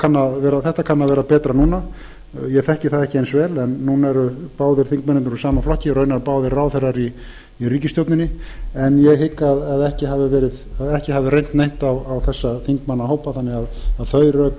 kann að vera betra núna ég þekki það ekki eins vel en núna eru báðir þingmennirnir úr sama flokki og raunar báðir ráðherrar í ríkisstjórninni en ég hygg að ekki hafi reynt neitt á þessa þingmannahópa þannig að þau rök